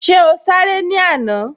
Ṣé o sáré ní àná?